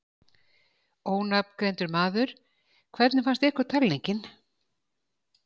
Ónafngreindur maður: Hvernig fannst ykkur talningin?